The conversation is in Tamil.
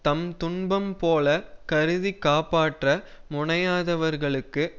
தம் துன்பம் போலக் கருதி காப்பாற்ற முனையாதவர்களுக்கு